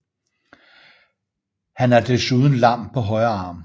Han er desuden lam på højre arm